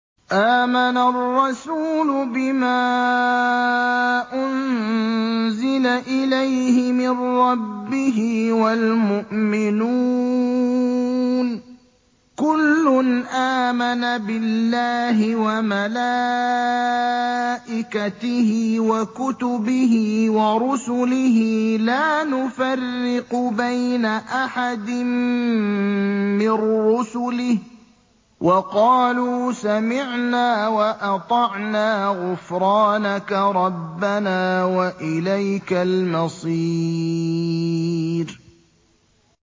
آمَنَ الرَّسُولُ بِمَا أُنزِلَ إِلَيْهِ مِن رَّبِّهِ وَالْمُؤْمِنُونَ ۚ كُلٌّ آمَنَ بِاللَّهِ وَمَلَائِكَتِهِ وَكُتُبِهِ وَرُسُلِهِ لَا نُفَرِّقُ بَيْنَ أَحَدٍ مِّن رُّسُلِهِ ۚ وَقَالُوا سَمِعْنَا وَأَطَعْنَا ۖ غُفْرَانَكَ رَبَّنَا وَإِلَيْكَ الْمَصِيرُ